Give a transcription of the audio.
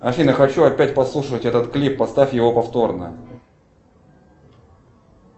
афина хочу опять послушать этот клип поставь его повторно